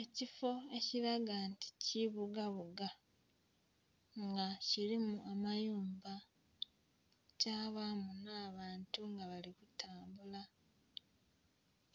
Ekifo ekilaga nti kibugabuga nga kilimu amayumba kyabamu nh'abantu nga bali kutambula,